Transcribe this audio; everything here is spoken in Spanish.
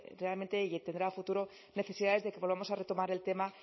realmente y tendrá a futuro necesidades de que volvamos a retomar el tema